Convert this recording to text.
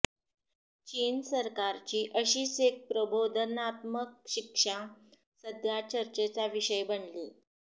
चीन सरकारची अशीच एक प्रबोधनात्मक शिक्षा सध्या चर्चेचा विषय बनलीय